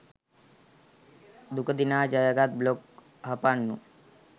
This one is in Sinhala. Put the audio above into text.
දුක දිනා ජයගත් බ්ලොග් හපන්නු